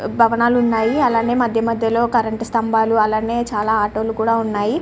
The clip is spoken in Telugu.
భవనాలు ఉన్నాయ్ అలానే మధ్యమధ్యలో కరెంటు స్తంభాలు అలానే చాల ఆటో లు కూడా ఉన్నాయి .